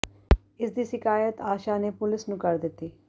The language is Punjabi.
ਇਸ ਦੀ ਸ਼ਿਕਾਇਤ ਆਸ਼ਾ ਨੇ ਪੁਲਿਸ ਨੂੰ ਕਰ ਦਿੱਤੀ